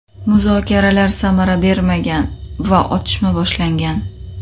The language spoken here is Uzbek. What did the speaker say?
Muzokaralar samara bermagan va otishma boshlangan.